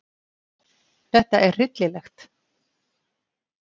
Þetta er hryllilegt.